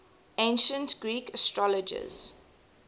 ancient greek astrologers